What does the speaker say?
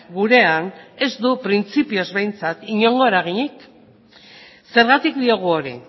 gurean ez du printzipioz behintzat inongo eraginik zergatik diogu hori